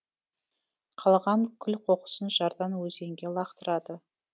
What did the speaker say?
қалған күл қоқысын жардан өзенге лақтырады